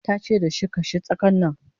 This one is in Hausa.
tace da shi "kashe tsakan Nan!"